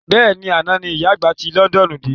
Bẹ́ẹ̀ni, àná ní ìyá àgbà ti Londoonu de